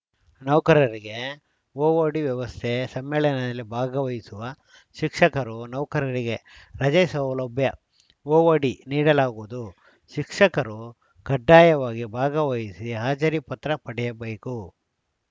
ನೌಕರರಿಗೆ ಓಓಡಿ ವ್ಯವಸ್ಥೆ ಸಮ್ಮೇಳನದಲ್ಲಿ ಭಾಗವಹಿಸುವ ಶಿಕ್ಷಕರು ನೌಕರರಿಗೆ ರಜೆ ಸೌಲಭ್ಯಓಓಡಿ ನೀಡಲಾಗುವುದು ಶಿಕ್ಷಕರು ಕಡ್ಡಾಯವಾಗಿ ಭಾಗವಹಿಸಿ ಹಾಜರಿ ಪತ್ರ ಪಡೆಯಬೇಕು